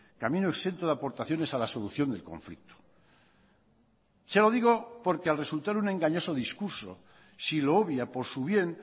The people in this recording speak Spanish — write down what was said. camino exento de aportaciones a la solución del conflicto se lo digo porque al resultar un engañoso discurso si lo obvia por su bien